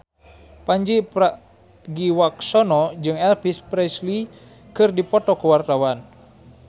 Pandji Pragiwaksono jeung Elvis Presley keur dipoto ku wartawan